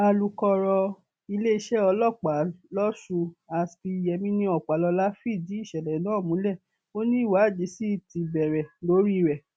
alukọrọ iléeṣẹ ọlọpàá lọsùn aspir yemini ọpàlọlá fìdí ìṣẹlẹ náà múlẹ ó ní ìwádìí sì ti bẹrẹ lórí rẹ